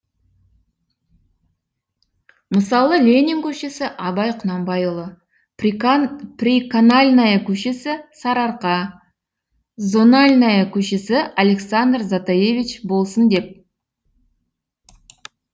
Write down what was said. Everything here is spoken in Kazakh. мысалы ленин көшесі абай құнанбайұлы приканальная көшесі сарыарқа зональная көшесі александр затаевич болсын деп